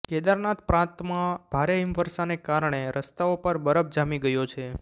કેદારનાથ પ્રાંતમાં ભારે હિમવર્ષાને કારણે રસ્તાઓ પર બરફ જામી ગયો છે